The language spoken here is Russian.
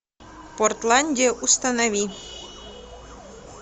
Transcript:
портландия установи